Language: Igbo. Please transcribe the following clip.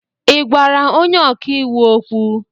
Ị gwara onye ọka iwu okwu?